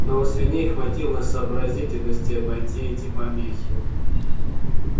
но у свиней хватило сообразительности обойти эти помехи